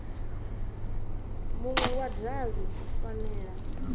munwe wa davhi u fanela